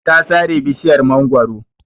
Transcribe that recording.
Ta sare bishiyar mangwaro.